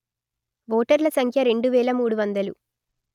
వోటర్ల సంఖ్య రెండు వేల మూడు వందలు